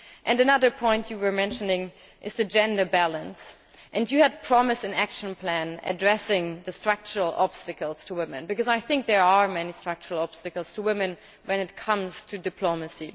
Another point you mentioned is the gender balance, and you had promised an action plan addressing the structural obstacles to women, because there are many structural obstacles to women when it comes to diplomacy.